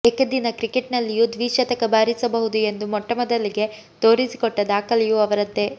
ಏಕದಿನ ಕ್ರಿಕೆಟ್ನಲ್ಲಿಯೂ ದ್ವಿಶತಕ ಬಾರಿಸಬಹುದು ಎಂದು ಮೊಟ್ಟಮೊದಲಿಗೆ ತೋರಿಸಿಕೊಟ್ಟ ದಾಖಲೆಯೂ ಅವರದ್ದೇ